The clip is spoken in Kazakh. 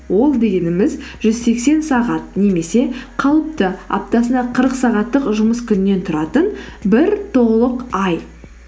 ол дегеніміз жүз сексен сағат немесе қалыпты аптасына қырық сағаттық жұмыс күннен тұратын бір толық ай